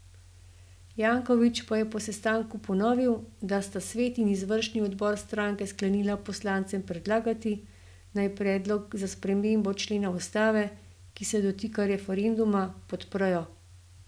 Janković pa je po sestanku ponovil, da sta svet in izvršni odbor stranke sklenila poslancem predlagati, naj predlog za spremembo člena ustave, ki se dotika referenduma, podprejo.